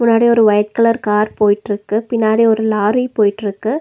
முன்னாடி ஒரு white colour car போயிட்ருக்கு. பின்னாடி ஒரு லாரி போயிட்ருக்கு.